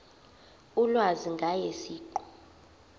ulwazi ngaye siqu